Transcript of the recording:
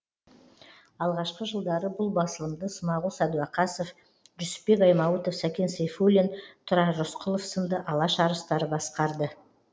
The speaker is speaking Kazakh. алғашқы жылдары бұл басылымды смағұл сәдуақасов жүсіпбек аймауытов сәкен сейфуллин тұрар рысқұлов сынды алаш арыстары басқарды